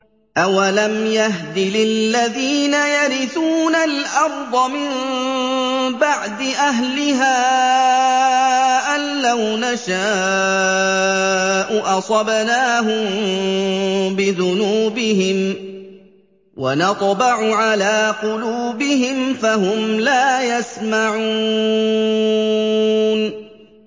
أَوَلَمْ يَهْدِ لِلَّذِينَ يَرِثُونَ الْأَرْضَ مِن بَعْدِ أَهْلِهَا أَن لَّوْ نَشَاءُ أَصَبْنَاهُم بِذُنُوبِهِمْ ۚ وَنَطْبَعُ عَلَىٰ قُلُوبِهِمْ فَهُمْ لَا يَسْمَعُونَ